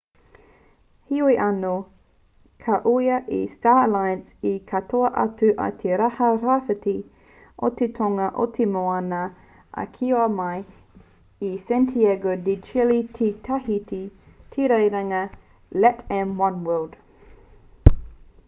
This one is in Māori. heoi anō ka ūhia e star alliance te katoa atu i te taha rāwhiti o te tonga o te moana a kiwa mai i santiago de chile ki tahiti te rerenga latam oneworld